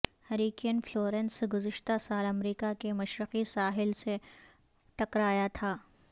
hurricane Florence گذشتہ سال امریکہ کے مشرقی ساحل سے ٹکرایا تھا